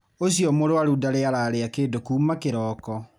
Ũcio mũrwaru ndarĩ ararĩa kĩndũ kũma kĩroko